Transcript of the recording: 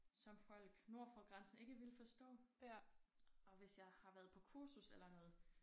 Som folk nord for grænsen ikke ville forstå og hvis jeg har været på kursus eller noget